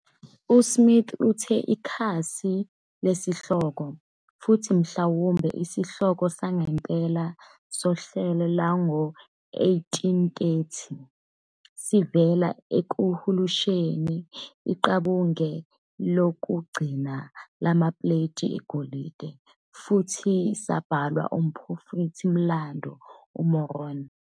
USmith uthe ikhasi lesihloko, futhi mhlawumbe isihloko sangempela sohlelo lwango-1830, sivela ekuhumusheni "iqabunga lokugcina" lamapuleti egolide, futhi sabhalwa ngumphrofethi-mlando uMoroni.